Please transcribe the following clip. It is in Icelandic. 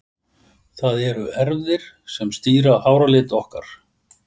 Það eru erfðir sem stýra háralit okkar.